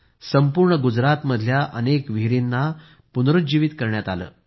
संपूर्ण गुजरातमधल्या अनेक विहिरींना आडांना पुनर्जीवित करण्यात आले